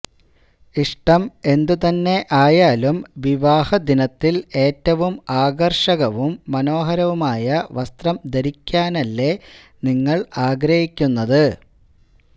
ഇഷ്ടം എന്തു തന്നെ ആയാലും വിവാഹദിനത്തില് ഏറ്റവും ആകര്ഷകവും മനോഹരവുമായ വസ്ത്രം ധരിക്കാനല്ലേ നിങ്ങള് ആഗ്രഹിക്കുന്നത്